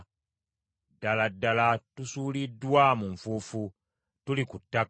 Ddala ddala tusuuliddwa mu nfuufu; tuli ku ttaka.